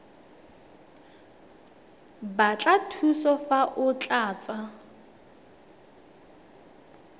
batla thuso fa o tlatsa